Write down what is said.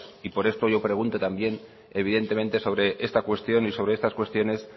y por esto yo pregunto también evidentemente sobre esta cuestión y sobre estas cuestiones